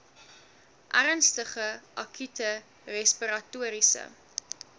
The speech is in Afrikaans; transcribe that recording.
ernstige akute respiratoriese